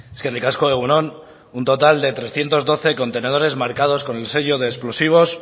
eskerrik asko egun on un total de trescientos doce contenedores marcados con el sello de explosivos